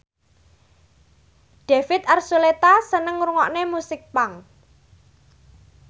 David Archuletta seneng ngrungokne musik punk